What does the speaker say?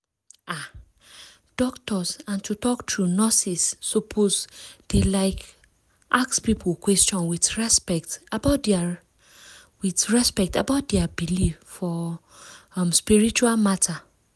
ah! doctors and to talk true nurses suppose dey like ask people question with respect about with respect about dia believe for um spiritual matter.